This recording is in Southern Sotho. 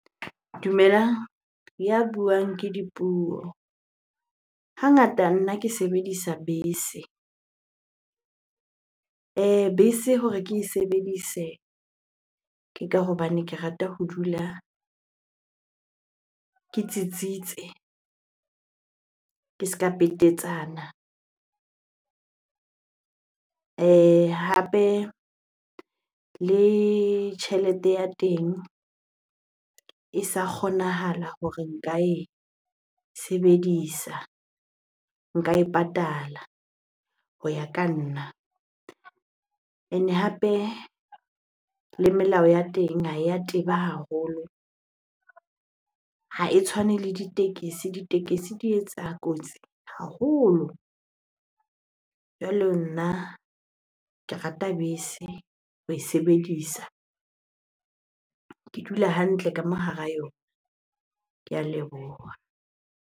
Dumelang, ya buang ke Dipuo. Hangata nna ke sebedisa bese. Bese hore ke e sebedise ke ka hobane ke rata ho dula ke tsitsitse, ke se ka petetsana. Hape le tjhelete ya teng e sa kgonahala hore nka e sebedisa, nka e patala ho ya ka nna, ene hape le melao ya teng ha ya teba haholo. Ha e tshwane le ditekesi, ditekesi di etsa kotsi haholo. Jwale nna ke rata bese ho e sebedisa. Ke dula hantle ka mo hara yona. Ke a leboha.